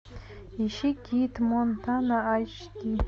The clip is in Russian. ищи кид монтана айч ди